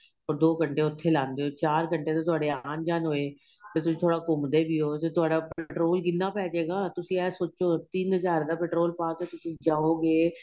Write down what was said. ਦੋ ਘੰਟੇ ਉਥੇ ਲਾਦੇ ਹੋ ਤੇ ਚਾਰ ਘੰਟੇ ਤੁਹਾਡੇ ਆਂਣ ਜਾਣ ਵਿੱਚ ਹੋਏ ਤੇ ਤੁਸੀਂ ਥੋੜਾ ਘੁੱਮਦੇ ਵੀ ਹੋ ਤੇ ਤੁਹਾਡਾ petrol ਕਿੰਨਾ ਪੇਹ ਜਏਗਾ ਤੁਸੀਂ ਏਹ ਸੋਚੋ ਤਿੰਨ ਹਜ਼ਾਰ ਦਾ petrol ਪਾਕੇ ਤੁਸੀਂ ਜਾਹੋਗੇ